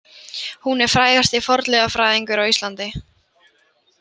Hún er frægasti fornleifafræðingur á Íslandi.